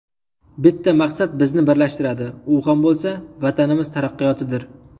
Bitta maqsad bizni birlashtiradi, u ham bo‘lsa: Vatanimiz taraqqiyotidir!